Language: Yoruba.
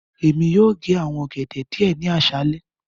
Emi yóò ge awọn ogede diẹ ni aṣalẹ.